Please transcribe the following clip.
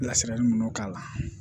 Lasiranli minnu k'a la